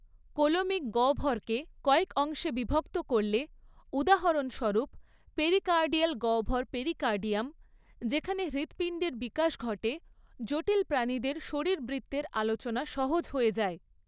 Coelomic গহ্বরকে কয়েক অংশে বিভক্ত করলে, উদাহরণস্বরূপ, পেরিকার্ডিয়াল গহ্বর পেরিকার্ডিয়াম, যেখানে হৃৎপিণ্ডের বিকাশ ঘটে, জটিল প্রাণীদের শারীরবৃত্তের আলোচনা সহজ হয়ে যায়।